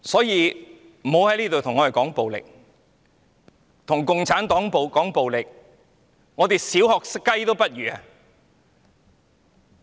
如果跟共產黨談暴力，我們連"小學雞"也不如。